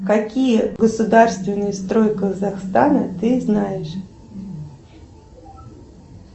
какие государственные строй казахстана ты знаешь